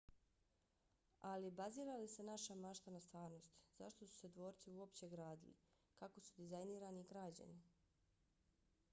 ali bazira li se naša mašta na stvarnosti? zašto su se dvorci uopće gradili? kako su dizajnirani i građeni?